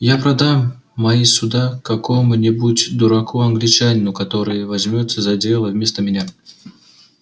я продам мои суда какому-нибудь дураку англичанину который возьмётся за дело вместо меня